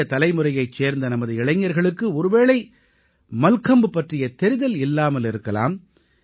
புதிய தலைமுறையைச் சேர்ந்த நமது இளைஞர்களுக்கு ஒருவேளை மல்கம்ப் பற்றிய தெரிதல் இல்லாமல் இருக்கலாம்